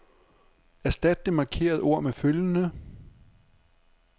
Erstat det markerede ord med følgende.